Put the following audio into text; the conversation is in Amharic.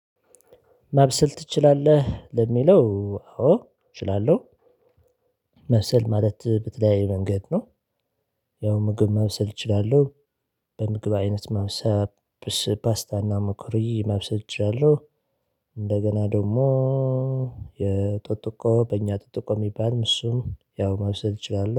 ማብሰል ትችላለህ? ለሚለው አዎ እችላለሁ። ማብሰል ማለት በተለያየ መንገድ ነው። ያው ምግብ ማብሰል እችላለሁ በምግብ አይነት ማብሰል ፓስታና መኮሮኒ ማብሰል እችላለሁ እንደገና ደግሞ የጦጥቆ በእኛ ጠጥቆ የሚባልም እሱም ያው ማብሰል እችላለሁ